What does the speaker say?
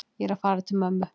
Ég er að fara til mömmu.